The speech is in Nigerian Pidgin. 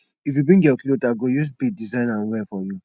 if you bring your cloth i go use bead design am well for you